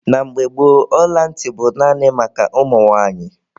Na mgbe gboo, ọla ntị bụ naanị maka ụmụ nwanyị.